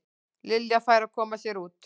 Lilja færi að koma sér út.